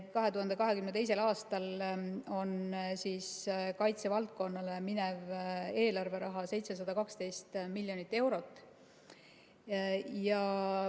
2022. aastal on kaitsevaldkonnale minev eelarveraha 712 miljonit eurot.